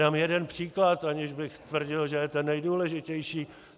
Dám jeden příklad, aniž bych tvrdil, že je ten nejdůležitější.